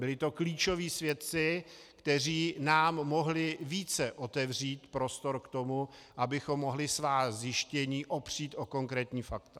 Byli to klíčoví svědci, kteří nám mohli více otevřít prostor k tomu, abychom mohli svá zjištění opřít o konkrétní fakta.